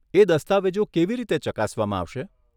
એ દસ્તાવેજો કેવી રીતે ચકાસવામાં આવશે?